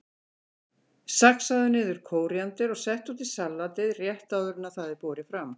Saxaðu niður kóríander og settu út í salatið rétt áður en það er borið fram.